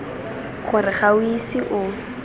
gore ga o ise o